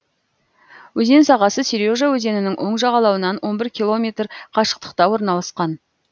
өзен сағасы сережа өзенінің оң жағалауынан он бір километр қашықтықта орналасқан